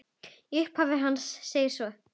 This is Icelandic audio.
Í upphafi hans segir svo